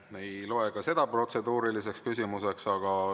Ma ei loe ka seda protseduuriliseks küsimuseks.